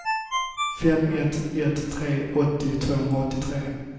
fem ett ett tre åttio tvåhundraåttiotre